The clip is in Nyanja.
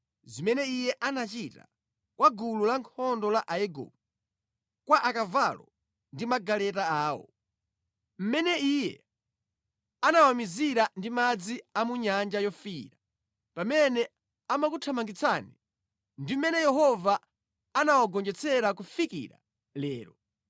zimene Iye anachita kwa gulu lankhondo la Aigupto, kwa akavalo ndi magaleta awo, mmene Iye anawamizira ndi madzi a mu Nyanja Yofiira pamene amakuthamangitsani, ndi mmene Yehova anawagonjetsera kufikira lero.